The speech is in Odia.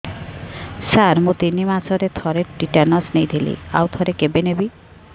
ସାର ମୁଁ ତିନି ମାସରେ ଥରେ ଟିଟାନସ ନେଇଥିଲି ଆଉ ଥରେ କେବେ ନେବି